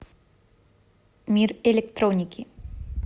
мир электроники